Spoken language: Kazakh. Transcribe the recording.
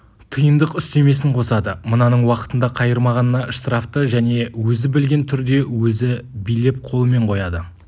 тиындық үстемесін қосады мынаның уақытында қайырмағанына штрафты және өзі білген түрде өзі билеп қолымен қояды